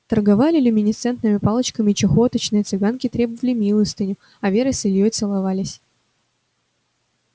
торговали люминесцентными палочками чахоточные цыганки требовали милостыню а вера с ильёй целовались